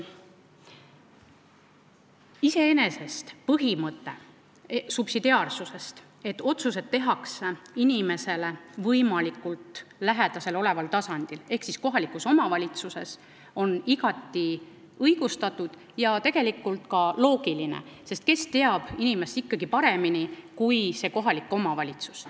Iseenesest on subsidiaarsuspõhimõte, see, et otsused tehakse inimesele võimalikult lähedal oleval tasandil ehk kohalikus omavalitsuses, igati õigustatud ja tegelikult ka loogiline, sest kes tunneb inimest ikkagi paremini kui kohalik omavalitsus.